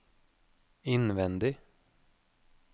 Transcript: innvendig